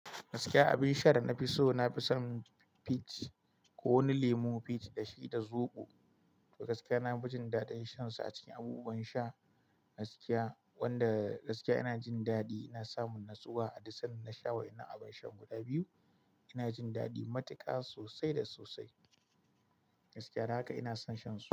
Gaskiya abin sha da na fi so, na fi son peach ko wani lemun peach da shi da zoɓo. Gaskiya nafi jin dadin shan sa acikin abubuwan sha gaskiya wanda gaskiya ina jin daddin ina samun natsuwa a duk sanda na sha wainan abun sha guda biyu ina jin dadi matuka sosai da sosai gaskiya don haka ina son shan su.